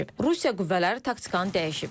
Rusiya qüvvələri taktikanı dəyişib.